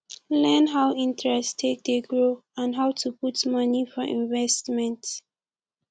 learn how interest take dey grow and how to put money for investment